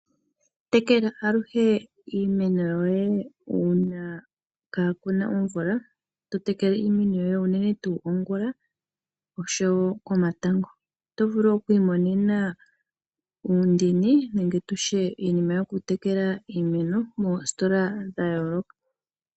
Tekela aluhe iimeno yoye uuna kaa ku na omvula. Totekele iimeno unene tuu ongulonene nosho woo komatango. Oto vulu okwiimonena uundini nenge tutye iinima yoku tekela iimeno ohayi adhika moositola dha yooloka.